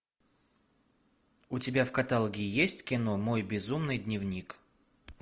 у тебя в каталоге есть кино мой безумный дневник